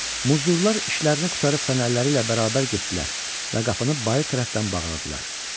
Muzdurlar işlərini qurtarıb fənərləri ilə bərabər getdilər və qapını bayır tərəfdən bağladılar.